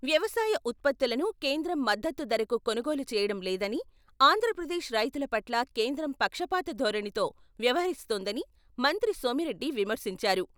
వ్యవసాయ ఉత్పత్తులను కేంద్రం మద్దతు ధరకు కొనుగోలు చేయడం లేదని, ఆంధ్రప్రదేశ్ రైతుల పట్ల కేంద్రం పక్షపాత ధోరణితో వ్యవహరిస్తోందని మంత్రి సోమిరెడ్డి విమర్శించారు.